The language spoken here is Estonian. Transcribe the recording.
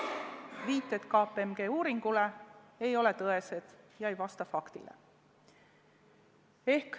Viited KPMG uuringule ei ole tõesed, ei vasta faktile.